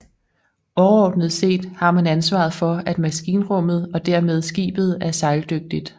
Overordnet set har man ansvaret for at maskinrummet og dermed skibet er sejldygtigt